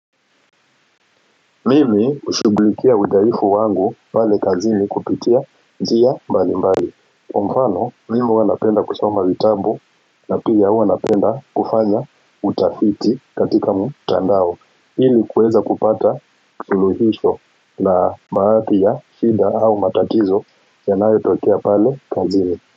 Mimi hushughulikia udhaifu wangu pale kazini kupitia njia mbalimbali kwa mfano mimi huwa napenda kusoma vitabu na pia huwa napenda kufanya utafiti katika mtandao hili kuweza kupata suluhisho na baadhi ya shida au matakizo yanayo tokea pale kazini.